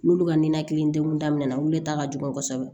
N'olu ka ninakili degun daminɛ na wulita ka jugu kosɛbɛ